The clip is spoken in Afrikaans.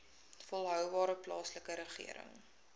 volhoubare plaaslike regering